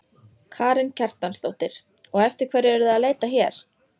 heyrði ég glöggt, að hann hafði andstyggð á Gyðingaofsóknunum.